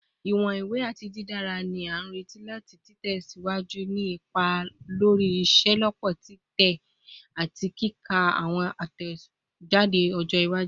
Iwọn iwe ati didara ni a nireti lati tẹsiwaju ni ipa lori iṣelọpọ titẹ ati kika ti awọn atẹjade ọjọ iwaju